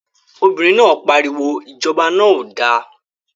Obìnrin náà pariwo, Ìjọba náà ò da!